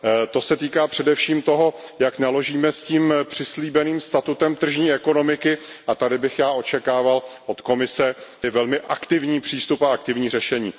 To se týká především toho, jak naložíme s tím přislíbeným statutem tržní ekonomiky, a tady bych já očekával od Komise velmi aktivní přístup a aktivní řešení.